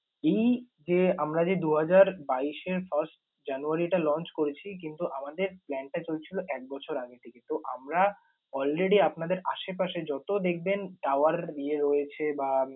এই যে আমরা যে দু হাজার বাইশ এ first january টা launch করেছি কিন্তু আমাদের plan টা চলছিল এক বছর আগে থেকে। তো আমরা already আপনাদের আশেপাশে যত দেখবেন tower ইয়ে রয়েছে বা